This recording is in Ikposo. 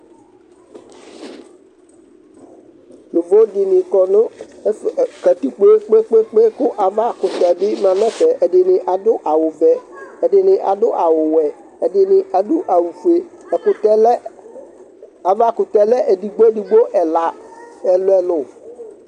Yovo dɩnɩkɔ nʋ katikpo yɛ kpekpekpe kʋ ava kʋtɛ bɩ ma n'ɛfɛ ɛdɩnɩ adʋ awʋ vɛ, ɛdɩnɩ adʋ awʋ fue Ɛkʋtɛ lɛ, avakʋtɛ lɛ edigbo edigbo ɛla, ɛlʋ ɛlʋ